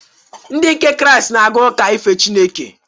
Ndị nke Kraịst na-aga uka ife Chineke.